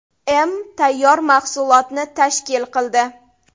m. tayyor mahsulotni tashkil qildi.